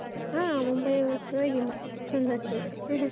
ಹ. ಮುಂಬೈ ಪರ್ವಾಗಿಲ್ಲ. ಚಂದ ಆಗ್ತದೆ.